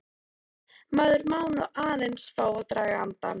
Maður má nú aðeins fá að draga andann!